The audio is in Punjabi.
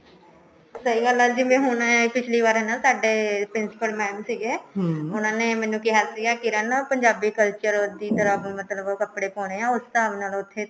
ਸਹੀ ਗੱਲ ਹੈ ਜਿਵੇਂ ਹੁਣ ਪਿਛਲੀ ਵਾਰ ਐ ਨਾ ਸਾਡੇ principal mam ਸੀਗੇ ਉਹਨਾ ਨੇ ਮੈਨੂੰ ਕਿਹਾ ਸੀਗਾ ਕਿਰਣ ਪੰਜਾਬੀ culture ਦੀ ਤਰ੍ਹਾਂ ਮਤਲਬ ਕੱਪੜੇ ਪਾਉਣੇ ਐ ਉਸ ਹਿਸਾਬ ਨਾਲ ਉੱਥੇ